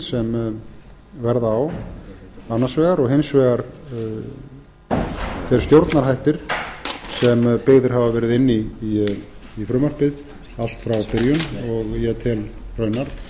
sem verða á annars vegar og hins vegar þeir stjórnarhættir sem byggðir hafa verið inn í frumvarpið allt frá byrjun og ég tel raunar sennilegustu